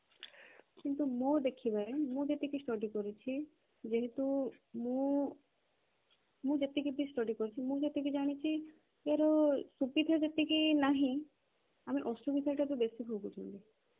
କିନ୍ତୁ ମୋ ଦେଖିବାରେ ମୁଁ ଯେତିକି study କରିଛି ଯେହେତୁ ମୁଁ ମୁଁ ଯେତିକି ବି study କରିଛି ମୁଁ ଯେତିକି ଜାଣିଛି ଯେ ୟାର ସୁବିଧା ଯେତିକି ନାହିଁ ଆମେ ଅସୁବିଧାଟା ତ ବେଶି ଭୋଗୁଛନ୍ତି